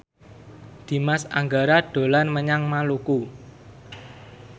Dimas Anggara dolan menyang Maluku